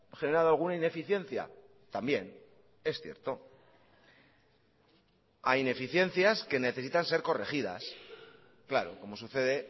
generado alguna ineficiencia también es cierto a ineficiencias que necesitan ser corregidas claro como sucede